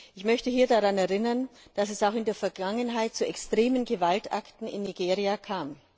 Ich möchte hier daran erinnern, dass es auch in der Vergangenheit zu extremen Gewaltakten in Nigeria kam.